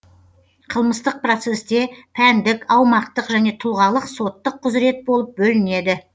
қылмыстық процессте пәндік аумақтық және тұлғалық соттық құзырет болып бөлінеді